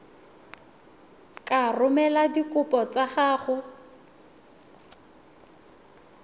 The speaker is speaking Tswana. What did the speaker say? ka romela dikopo tsa gago